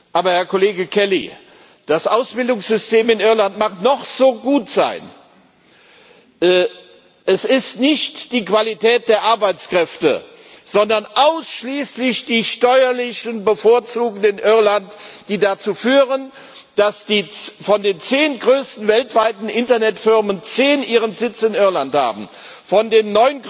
Aber, Herr Kollege Kelly, das Ausbildungssystem in Irland mag noch so gut sein es ist nicht die Qualität der Arbeitskräfte, sondern es sind ausschließlich die steuerlichen Bevorzugungen in Irland, die dazu führen, dass von den zehn größten weltweiten Internetfirmen zehn ihren Sitz in Irland haben, von